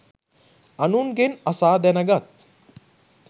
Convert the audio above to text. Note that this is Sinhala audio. අනුන්ගෙන් අසා දැනගත්